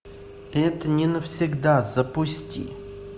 это не навсегда запусти